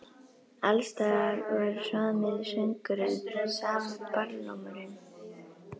Alls staðar var sami söngurinn, sami barlómurinn.